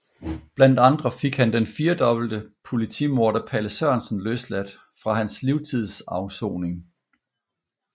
Blandt andre fik han den firdobbelt politimorder Palle Sørensen løsladt fra hans livstidsafsoning